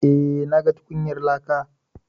Eh, na ga tukunyar laka.